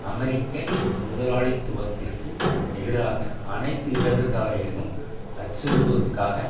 அமெரிக்க முதலாளித்துவத்திற்கு எதிராக அனைத்து இடதுசாரிகளையும் அச்சுறுத்துவதற்காக